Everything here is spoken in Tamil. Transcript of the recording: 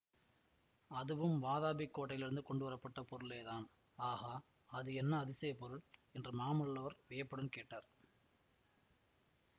அதுவும் வாதாபிக் கோட்டையிலிருந்து கொண்டு வரப்பட்ட பொருளேதான் ஆகா அது என்ன அதிசயப் பொருள் என்று மாமல்லவர் வியப்புடன் கேட்டார்